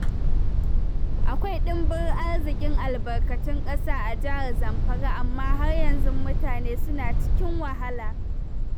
Akwai ɗimbin arzikin albarkatun ƙasa a Jihar Zamfara amma har yanzu mutane suna cikin wahala.